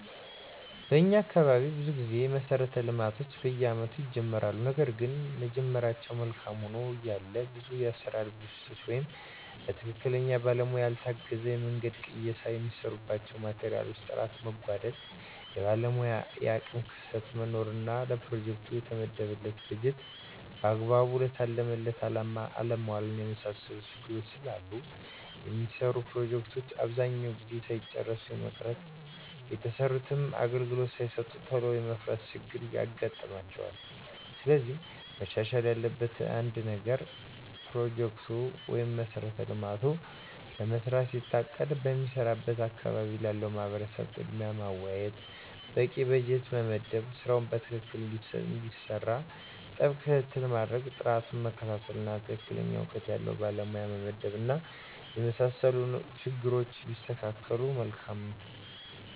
በኛ አካባቢ ብዙ ጊዜ መሠረተ ልማቶች በየአመቱ ይጀመራሉ ነገርግን መጀመራቸው መልካም ሆኖ እያለ ብዙ የአሠራር ብልሽት ወይም በትክክለኛ ባለሙያ ያልታገዘ የመንገድ ቅየሳ፣ የሚሰሩባቸው ማቴሪያሎች ጥራት መጓደል፣ የባለሙያ የአቅም ክፍተት መኖር እና ለፕሮጀክቱ የተመደበውን በጀት በአግባቡ ለታለመለት አላማ አለማዋል የመሳሰሉት ችግሮች ስላሉ የሚሰሩ ፕሮጀክቶች አብዛኛውን ጊዜ ሳይጨረሱ የመቅረት፣ የተሰሩትም አገልግሎት ሳይሰጡ ቶሎ የመፍረስ ችግር ይገጥማቸዋል። ስለዚህ መሻሻል ያለበት ነገር አንድ ፕሮጀክት(መሠረተ ልማት)ለመስራት ሲታቀድ በሚሰራበት አካባቢ ላለው ማህበረሰብ ቅድሚያ ማወያየት፣ በቂ በጀት መመደብ ስራው በትክክል እንዲሰራ ጥብቅ ክትትል ማድረግ፣ ጥራቱን መከታተል፣ እና ትክክለኛ እውቀት ያለው ባለሙያ መመደብ እና የመሳሰሉት ችግሮች ቢስተካከሉ መልካም ነው።